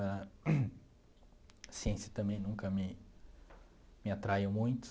A ciência também nunca me me atraiu muito.